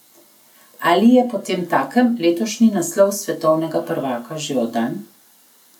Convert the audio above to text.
Ali je potemtakem letošnji naslov svetovnega prvaka že oddan?